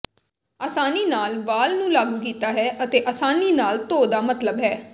ਆਸਾਨੀ ਨਾਲ ਵਾਲ ਨੂੰ ਲਾਗੂ ਕੀਤਾ ਹੈ ਅਤੇ ਆਸਾਨੀ ਨਾਲ ਧੋ ਦਾ ਮਤਲਬ ਹੈ